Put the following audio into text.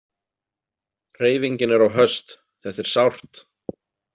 Hreyfingin er of höst, þetta er sárt.